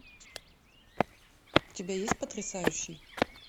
у тебя есть потрясающий